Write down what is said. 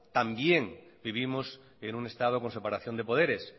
también vivimos en un estado con separación de poderes